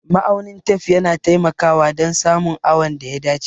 Ma'aunin tef yana taimakawa dan samun awon da ya dace